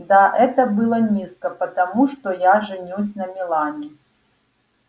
да это было низко потому что я женюсь на мелани